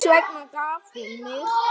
Hvers vegna gaf hún mig?